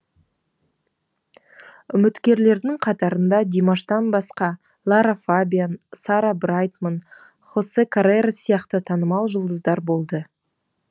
үміткерлердің қатарында димаштан басқа лара фабиан сара брайтман хосе каррерас сияқты танымал жұлдыздар болды